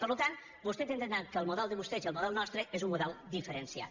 per tant vostès han d’entendre que el model de vostès i el model nostre és un model diferenciat